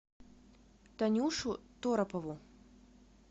танюшу торопову